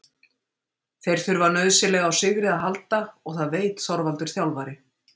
Þeir þurfa nauðsynlega á sigri að halda og það veit Þorvaldur þjálfari.